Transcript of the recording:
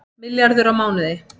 Milljarður á mánuði